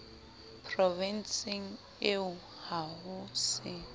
provenseng eo ha ho se